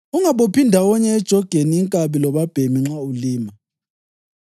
Ungabophi ndawonye ejogeni inkabi lobabhemi nxa ulima.